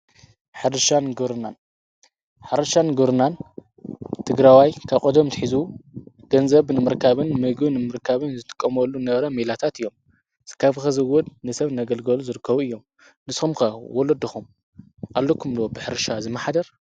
ሕርሻን ግብርናን ሕርሻን ግብርናን ትግራዋይ ካቐደም ትኂዙ ገንዘብ ንምርካብን መይግን ምርካብን ዝትቀመሉ ነበረ ሚላታት እዮም። ዝካፍኸዝወድ ንሰብ ነገልገሉ ዘድከቡ እዮም ንስምከ ወለድኹም ኣለኩምሎ ብኅርሻ ዝመኃደር?